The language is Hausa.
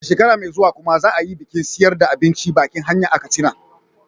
A shekara mai zuwa kuma za a yi bikin siyarda abincin bakin hanya a Katsina.